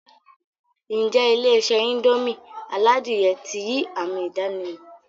N jẹ́ Ilé-isé indomie aládìyẹ ti yii ami ìdànímò